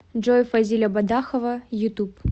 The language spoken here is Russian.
джой фазиля бадахова ютуб